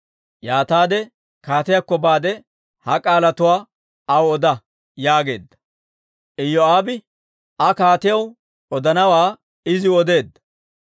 Yaataade kaatiyaakko baade ha k'aalatuwaa aw oda» yaageedda. Iyoo'aabe Aa kaatiyaw odanawaa iziw odeedda.